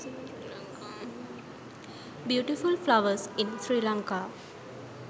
beautiful flowers in sri lanka